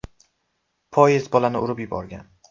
Poyezd bolani urib yuborgan.